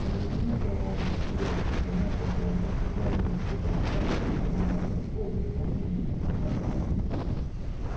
через минуту она уже сидела в санях около ног хозяина и слушала как он пожимаясь от холода и волнения бормотал